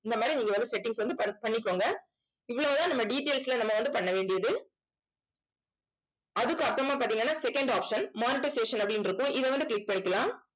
இந்த மாதிரி நீங்க வந்து settings வந்து பண்~ பண்ணிக்கோங்க இவ்வளவுதான் நம்ம details ல நம்ம வந்து பண்ண வேண்டியது அதுக்கு அப்புறமா பார்த்தீங்கன்னா second option monetisation அப்படின்னு இருக்கும். இதை வந்து click பண்ணிக்கலாம்